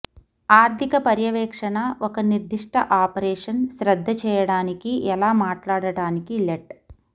ఆర్థిక పర్యవేక్షణ ఒక నిర్దిష్ట ఆపరేషన్ శ్రద్ధ చేయడానికి ఎలా మాట్లాడటానికి లెట్